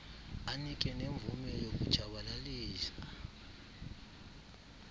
anike nemvume yokutshabalalisa